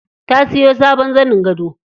Ta siyo sabon zanin gado.